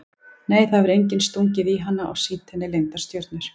Nei það hefur enginn stungið í hana og sýnt henni leyndar stjörnur.